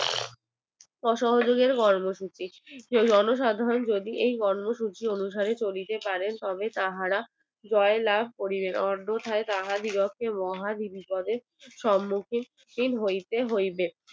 অসহযোগিতার কর্মসূচি জনসাধারণ যদি এই কর্মসূচি অনুসরণ করিয়া চলিতে পারে তবে তাহারা জয় লাভ করিবে অন্যথায় তাহা দিগকে মহা বিপদের সম্মুখীন হইতে হইবে